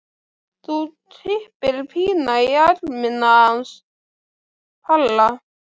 Þá kippir Pína í ermina hans Palla.